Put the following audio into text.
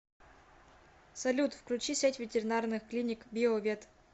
салют включи сеть ветеринарных клиник био вет